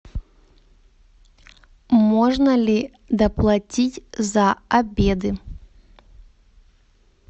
можно ли доплатить за обеды